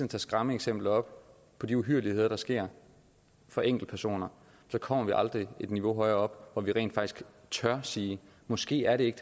tager skræmmeeksempler op på de uhyrligheder der sker for enkeltpersoner kommer vi aldrig et niveau højere op hvor vi rent faktisk tør sige måske er det ikke